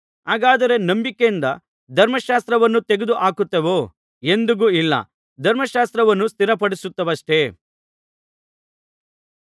ಹಾಗಾದರೆ ನಂಬಿಕೆಯಿಂದ ಧರ್ಮಶಾಸ್ತ್ರವನ್ನು ತೆಗೆದು ಹಾಕುತ್ತೇವೋ ಎಂದಿಗೂ ಇಲ್ಲ ಧರ್ಮಶಾಸ್ತ್ರವನ್ನು ಸ್ಥಿರಪಡಿಸುತ್ತೇವಷ್ಟೇ